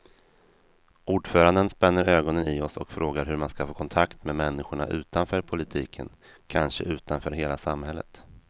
Ordföranden spänner ögonen i oss och frågar hur man ska få kontakt med människorna utanför politiken, kanske utanför hela samhället.